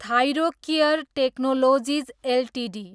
Thyrocare technologies Ltd